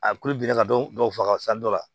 A kulu bilenna ka dɔ faga san dɔ la